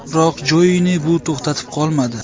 Biroq Jouini bu to‘xtatib qolmadi.